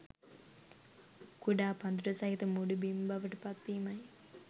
කුඩා පඳුරු සහිත මුඩු බිම් බවට පත්වීමයි